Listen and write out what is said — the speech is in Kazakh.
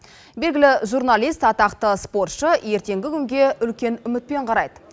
белгілі журналист атақты спортшы ертеңгі күнге үлкен үмітпен қарайды